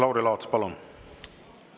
Lauri Laats, palun!